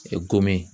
Gomin